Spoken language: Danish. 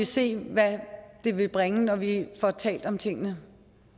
se hvad det vil bringe når vi får talt om tingene